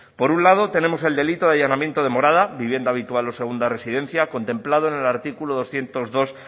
por un lado tenemos el delito de allanamiento de morada vivienda habitual o segunda residencia contemplado en el artículo doscientos dos